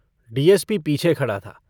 DSP पीछे खड़ा था।